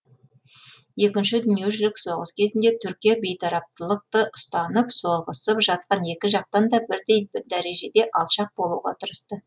екінші дүниежүзілік соғыс кезінде түркия бейтараптылықты ұстанып соғысып жатқан екі жақтан да бірдей дәрежеде алшақ болуға тырысты